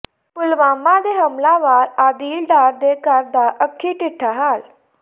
ਪੁਲਵਾਮਾ ਦੇ ਹਮਲਾਵਰ ਆਦਿਲ ਡਾਰ ਦੇ ਘਰ ਦਾ ਅੱਖੀਂ ਡਿੱਠਾ ਹਾਲ